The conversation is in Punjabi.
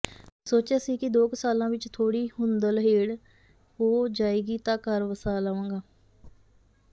ਸੋਚਿਆ ਸੀ ਕਿ ਦੋ ਕੁ ਸਾਲਾਂ ਵਿੱਚ ਥੋੜੀ ਹੁੰਦੜਹੇਲ ਹੋ ਜਾਏਗੀ ਤਾਂ ਘਰ ਵਸਾ ਲਵਾਂਗਾ